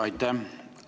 Aitäh!